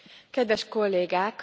Kedves Kollégák!